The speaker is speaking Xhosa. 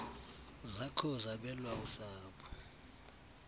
zakho zabelwa usapho